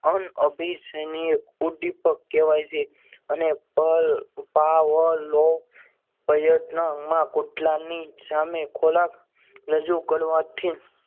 અનઅભિસાઈનીય ઉદ્દીપક કહેવાય છે. અને પલ પાવર લો પ્રયત્નમાં કૂતરાની સામે ખોરાક રજૂ કરવાથી